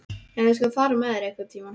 Já, ég skal fara með þig einhvern tíma.